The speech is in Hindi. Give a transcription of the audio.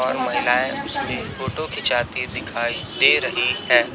और महिलाएं उसमे फोटो खिचाती दिखाई दे रही है।